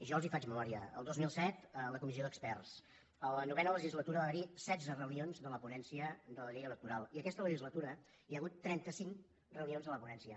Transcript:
jo els en faig memòria el dos mil set la comissió d’experts a la novena legislatura va haver hi setze reunions de la ponència de la llei electoral i aquesta legislatura hi ha hagut trenta cinc reunions de la ponència